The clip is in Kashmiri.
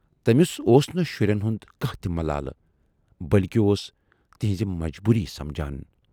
تمِٔس اوس نہٕ شُرٮ۪ن ہُند کانہہ تہِ ملالہٕ، بٔلۍکہِ اوس تِہٕنزٕ مجبوٗرییہِ سمجھان۔